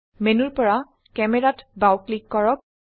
মেনুৰ পৰা cameraত বাও ক্লিক কৰক